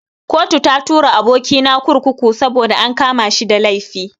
Kotu ta tura aboki na kurkuku saboda an kama shi da laifi.